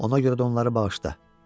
Ona görə də onları bağışla.